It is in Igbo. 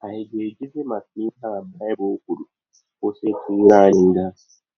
Ànyị ga - ejizi maka ihe a Baịbụl kwụrụ kwụsị ịkwa ire anyị nga?